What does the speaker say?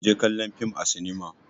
Ku je kallo fim a sinima.